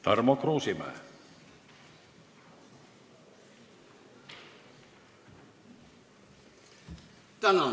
Tarmo Kruusimäe.